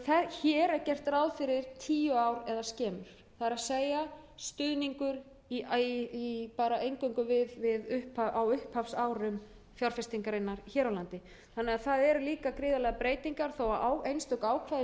hér er gert ráð fyrir tíu árum eða skemur það er stuðningur eingöngu á upphafsárum fjárfestingarinnar hér á landi þannig að það eru líka gríðarlegar breytingar þó einstök ákvæði